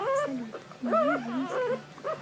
салют мне одиннадцать лет